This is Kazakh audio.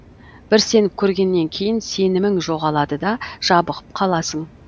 бір сеніп көргеннен кейін сенімің жоғалады да жабығып қаласың